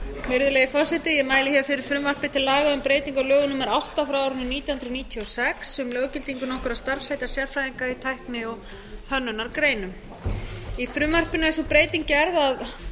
virðulegi forseti ég mæli hér fyrir frumvarpi til laga um breytingu á lögum númer átta nítján hundruð níutíu og sex um löggildingu nokkurra starfsheita sérfræðinga í tækni og hönnunargreinum í frumvarpinu er sú breyting gerð að